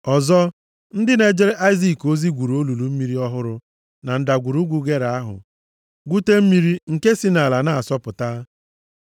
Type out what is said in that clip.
Ọzọ, ndị na-ejere Aịzik ozi gwuru olulu mmiri ọhụrụ na ndagwurugwu Gera ahụ, gwute mmiri nke si nʼala na-asọpụta.